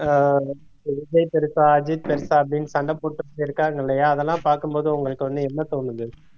அஹ் விஜய் பெருசா அஜித் பெருசா அப்படின்னு சண்டை போட்டுட்டு இருக்காங்க இல்லையா அதெல்லாம் பாக்கும்போது உங்களுக்கு வந்து என்ன தோணுது